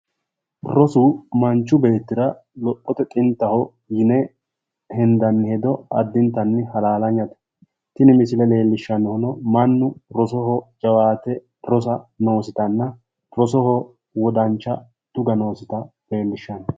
Rosu manchu beettira lophote xinttaho yine henddanni hedo addintanni halaallaynate. Tini misile leellishshannohuno mannu rosoho jawaate rosa noositanna rosoho wodancha tuga noosita leellishshanno.